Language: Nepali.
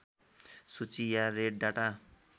सूची या रेड डाटा